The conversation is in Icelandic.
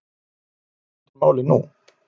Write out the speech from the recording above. En hvar stendur málið nú?